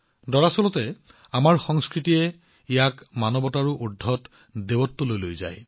দৰাচলতে আমাৰ সংস্কৃতিয়ে ইয়াক মানৱতাৰ ঊৰ্ধত দৈৱত্বলৈ লৈ যায়